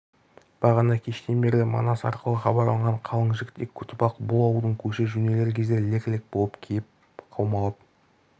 бағана кештен берлі манас арқылы хабарланған қалың жігітек көтібақ бұл ауылдың көші жөнелер кезде лек-лек болып кеп қаумалап